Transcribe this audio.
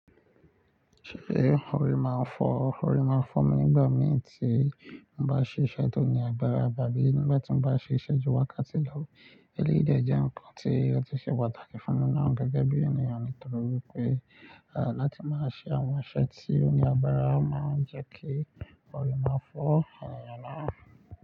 Ṣé orí máa ń fọ́, orí máa ń fọ́ mi nígbà mì tí mo bá ṣe iṣẹ́ tí ó ní agbára, àbí nígbà tí mo bá ṣe ìṣẹ̀jú wákàtí lọ́wọ́. Èlé ìdíẹ̀ jẹ́ nǹkan tí ó ti ṣe pàtàkì fún mi náà gẹ́gẹ́ bí ènìyàn nítorí pé, à, láti máa ṣe àwọn iṣẹ́ tí ó ní agbára máa ń jẹ́ kí orí máa fọ́ ènìyàn náà.